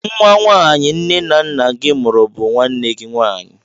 Nwa nwaanyị nne na nna gị mụrụ bụ nwanne gị nwaanyị.